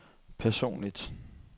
personligt